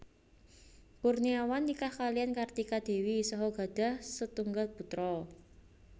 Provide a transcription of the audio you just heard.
Kurniawan nikah kaliyan Kartika Dewi saha gadhah setunggal putra